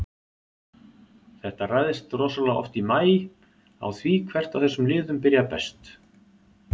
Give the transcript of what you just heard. Þetta ræðst rosalega oft í maí á því hvert af þessum liðum byrjar best.